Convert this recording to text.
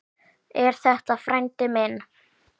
Er þetta frændi minn?